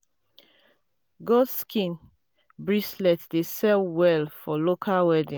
goat skin um dey sell well for local wedding.